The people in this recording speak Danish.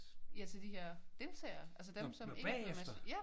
Ja til de her deltagere. Altså dem som ikke kom med til